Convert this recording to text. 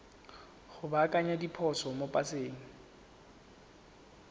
go baakanya diphoso mo paseng